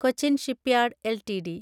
Cochin shipyard LTD